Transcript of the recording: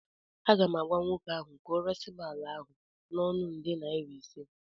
Aga m agwa nwoke ahụ ka ọ resim ala ahụ n'ọnụ nde naira ise